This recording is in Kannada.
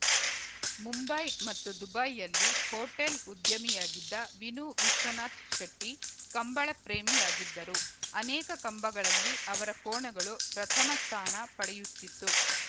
ಮುಂಬೈ ಮತ್ತು ದುಬೈಯಲ್ಲಿ ಹೊಟೇಲ್‌ ಉದ್ಯಮಿಯಾಗಿದ್ದ ವಿನು ವಿಶ್ವನಾಥ್‌ ಶೆಟ್ಟಿಕಂಬಳ ಪ್ರೇಮಿಯಾಗಿದ್ದರು ಅನೇಕ ಕಂಬಗಳಲ್ಲಿ ಅವರ ಕೋಣಗಳು ಪ್ರಥಮ ಸ್ಥಾನ ಪಡೆಯುತಿತ್ತು